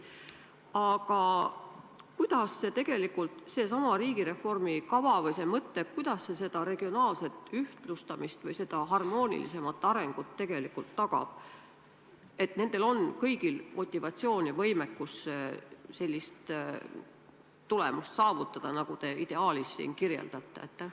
Aga kuidas tegelikult seesama riigireformi kava või mõte regionaalset ühtlustamist või harmoonilisemat arengut tagab, nii et kõigil oleks motivatsioon ja võimekus sellist tulemust saavutada, nagu te ideaalis siin kirjeldate?